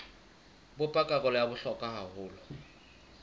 bopa karolo ya bohlokwa haholo